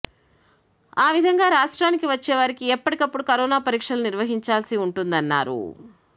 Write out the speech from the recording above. ఆ విధంగా రాష్ట్రానికి వచ్చే వారికి ఎప్పటికప్పుడు కరోనా పరీక్షలు నిర్వహించాల్సి ఉంటుందన్నారు